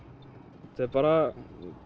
bara